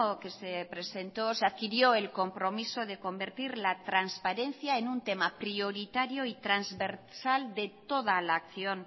que se presentó se adquirió el compromiso de convertir la transparencia en un tema prioritario y transversal de toda la acción